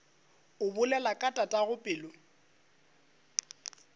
o bolela ka tatago pelo